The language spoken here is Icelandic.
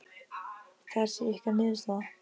Það sé ykkar niðurstaða?